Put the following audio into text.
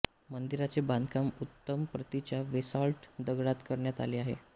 मंदिराचे बांधकाम उत्तम प्रतीच्या वेसाल्ट दगडात करण्यात आले आहे